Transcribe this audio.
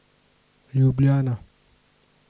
Ljubljana.